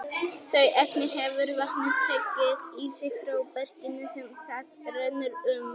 Þau efni hefur vatnið tekið í sig frá berginu sem það rennur um.